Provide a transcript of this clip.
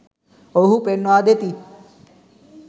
ඔවුහු පෙන්වා දෙති